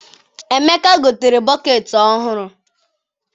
Emeka gotere bọkeeti ọhụrụ.